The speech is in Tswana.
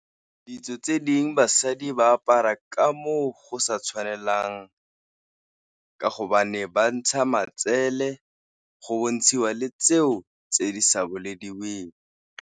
Ditso tse dingwe basadi ba apara ka mo go sa tshwanelang ka hobane ba ntsha matsele, go bontshiwa le tseo tse di sa bolediweng.